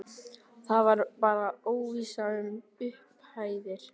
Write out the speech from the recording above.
Það var bara óvissa um upphæðir?